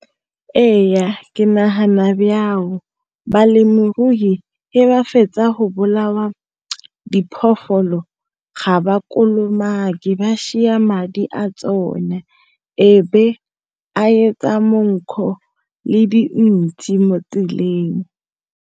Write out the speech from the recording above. Ee ke nagana balemirui e ba fetsa go bolawa diphologolo ga ba kolomake ba madi a tsone e be a monkgo le dintsi mo tseleng.